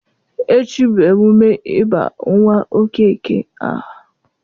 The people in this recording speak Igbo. Echi bụ emume ịba nwa Okeke aha